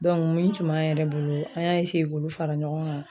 dɔnke min tun b'an yɛrɛ bolo an y'a eseye k'olu fara ɲɔgɔn kan